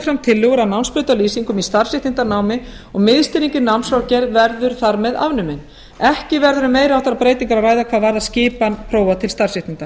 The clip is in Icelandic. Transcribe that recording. fram tillögur að námsbrautarlýsingum í starfsréttindanámi og miðstýring í námskrárgerð verður þar með afnumin ekki verður um meiri háttar breytingar að ræða hvað varðar skipan prófa til starfsréttinda